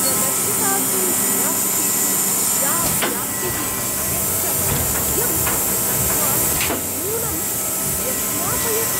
प्रदर्शितासु कलाकृतीषु या व्याप्तिः, यच्च वैविध्यं तत् मां नूनं व्यस्मापयत्।